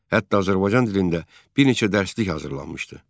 Hətta Azərbaycan dilində bir neçə dərslik hazırlanmışdı.